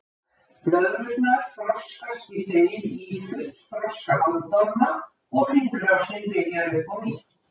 blöðrurnar þroskast í þeim í fullþroska bandorma og hringrásin byrjar upp á nýtt